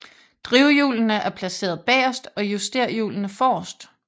Drivhjulene er placeret bagerst og justerhjulene forrest